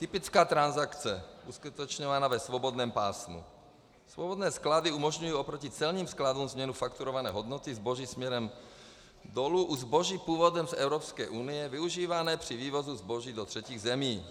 Typická transakce, uskutečňovaná ve svobodném pásmu: Svobodné sklady umožňují oproti celním skladům změnu fakturované hodnoty zboží směrem dolů u zboží původem z Evropské unie, využívané při vývozu zboží do třetích zemí.